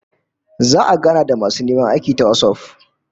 Za'a gana da masu neman aikin ta WhatsApp